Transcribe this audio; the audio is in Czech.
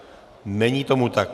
Není tomu tak.